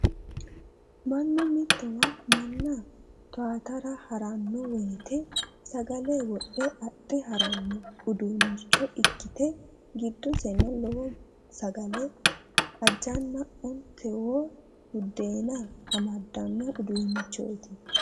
Mannu mitowa manna towaatara haranno woyiite sagale wodhe adhe haranno uduunnicho ikkite giddoseno lowo sagale ajanna ontawoo buddeena amaddano uduunnichoti.